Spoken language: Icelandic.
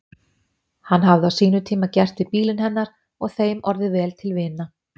Hann hafði á sínum tíma gert við bílinn hennar og þeim orðið vel til vina.